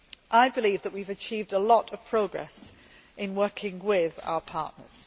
I believe that we have achieved a lot of progress in working with our partners.